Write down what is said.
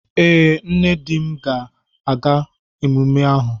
Ee, nne di m ga-aga emume ahụ